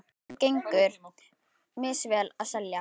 Mönnum gengur misvel að selja.